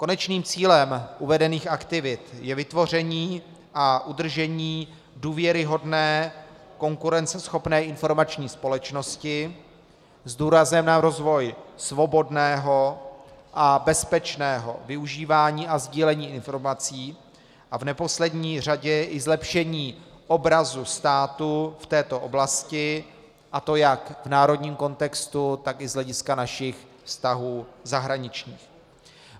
Konečným cílem uvedených aktivit je vytvoření a udržení důvěryhodné, konkurenceschopné informační společnosti s důrazem na rozvoj svobodného a bezpečného využívání a sdílení informací a v neposlední řadě i zlepšení obrazu státu v této oblasti, a to jak v národním kontextu, tak i z hlediska našich vztahů zahraničních.